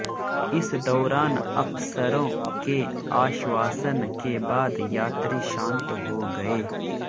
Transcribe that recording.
इस दौरान अफसरों के आश्वासन के बाद यात्री शांत हो गए